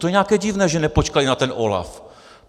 To je nějaké divné, že nepočkali na ten OLAF.